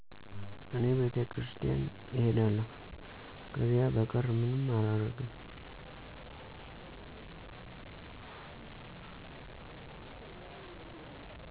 እኔ ቤተክርስቲያን እሄዳለሁ፣ ከዚያ በቀር ምንም አላረግም።